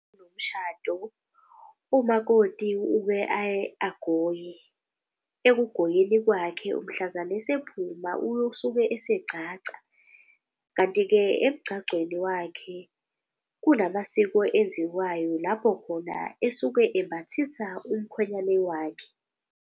Umakoti uke aye agoye, ekugoyeni kwakhe. Mhlazane esephuma usuke esegcagca, kanti-ke emgcagcweni wakhe kunamasiko enziwayo. Lapho khona esuke embhathisa umkhwenyane wakhe.